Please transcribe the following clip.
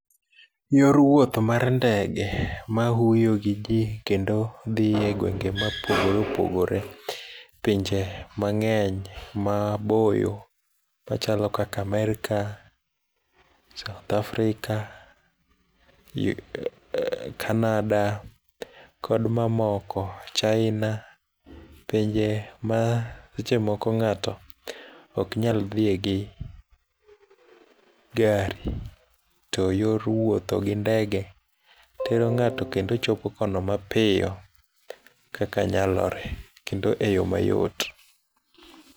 Yor wuoth mar ndege ma huyo gi ji kendo dhie egwenge mopogore opogore pinje mang'eny maboyo machalo kaka Amerka, south africa, kanada kod mamoko china pinje ma seche moko ng'ato ok nyal dhie gi gari to yor wuothogi ndege tero ng'ato kendo chopo kono mapiyo kaka nyalore kendo eyo mayot.